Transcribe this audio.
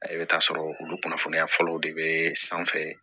I bɛ taa sɔrɔ olu kunnafoniya fɔlɔw de bɛ sanfɛ